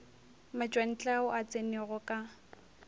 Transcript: matšwantle ao a tsenego ka